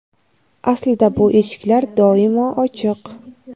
Aslida bu eshiklar doimo ochiq.